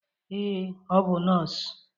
Ee, ọ bụ nọọsụ.